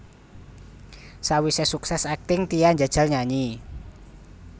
Sawisé sukses akting Tia njajal nyanyi